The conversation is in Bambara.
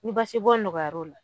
Ni basibɔn nɔgɔyar'o la